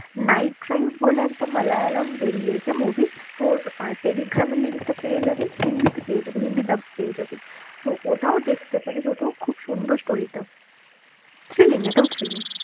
night drive বলে একটা মালয়ালম বেরিয়েছে movie তোর আহ টেলিগ্রামের link টা পেয়ে যাবি, হিন্দিতে পেয়ে যাবি, হিন্দিটা পেয়ে যাবি, তো ওটাও দেখতে পারিস ওটাও খুব সুন্দর story টা thrilling এটাও thrilling